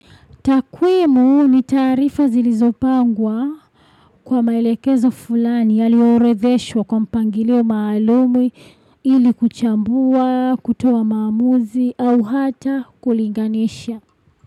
Takwimu ni taarifa zilizopangwa kwa maelekezo fulani yalio orodheshwa kwa mpangilio maalumi ili kuchambua, kutoa maamuzi au hata kulinganisha.